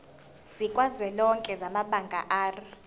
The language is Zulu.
sikazwelonke samabanga r